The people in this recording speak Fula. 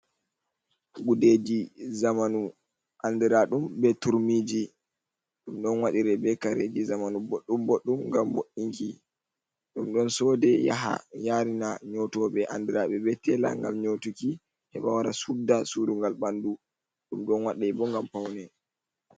Gudeji zamanu andiraɗum be turmiji ɗum ɗon waɗire be kareji zamanu boɗɗum boɗɗum ngam bo’inki. Ɗum ɗon sode yaha yarina nyotoɓe andiraɓe be tela ngam nyotuki heɓa wara sudda surungal ɓandu. Ɗum ɗo waɗa bo ngam paune.